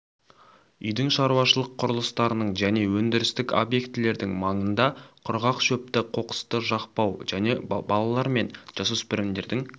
үйдің шаруашылық құрылыстарының және өндірістік объектілердің маңында құрғақ шөпті қоқысты жақпау және балалар мен жасөспірімдердің